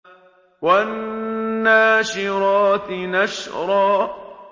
وَالنَّاشِرَاتِ نَشْرًا